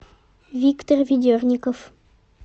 виктор ведерников